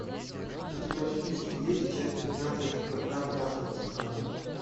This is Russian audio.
у тебя в списке есть часть пятнадцать когда плачут цикады